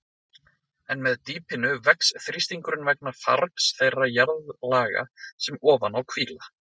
En með dýpinu vex þrýstingurinn vegna fargs þeirra jarðlaga sem ofan á hvíla.